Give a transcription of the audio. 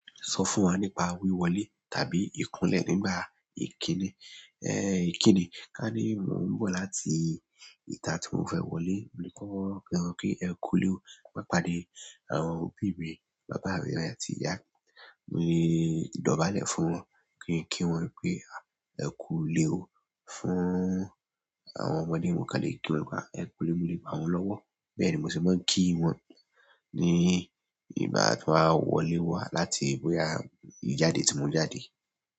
Sọ fún wa nípa wíwọlé tàbí ìkúnlẹ̀ nígbà ìkíni, ẹ́ ìkíni. Ka ní mò ń bọ̀ láti ìta tí mò ń fẹ́ wọlé, mo ní kí wọ́n rọ̀ pé ẹkú le ó, máa pàdé àwọn òbí mi, bàbá rẹ̀ àti ìyá. Mo lè dọ̀bálẹ̀ fún wọn, kí n kí wọn pé ẹkú le ó. Fún àwọn ọmọdé mò ń kán lè kí wọn pé ẹ lkú le ó, mo le bá wọn lọ́wọ́. Bẹ́ẹ̀ ni mò sì máa ń kí wọn ní ìgbà ti ń bá wọlé wá láti boyà ìjáde tí mò ń jáde.